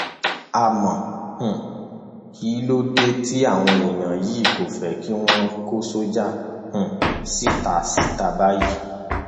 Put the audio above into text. àmọ um kí ló dé tí àwọn èèyàn yìí kò fẹ kí wọn kó sọjà um síta síta báyìí